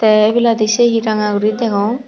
te ebeladi sehi ranga guri degong.